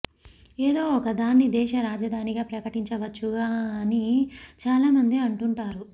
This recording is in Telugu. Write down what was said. ఏదో ఒకదాన్ని దేశ రాజధానిగా ప్రకటించవచ్చుగా అని చాలా మంది అంటుంటారు